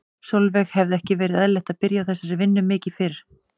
Sólveig: Hefði ekki verið eðlilegt að byrja á þessari vinnu mikið mikið fyrr?